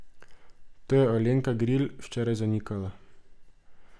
To je Alenka Gril včeraj zanikala.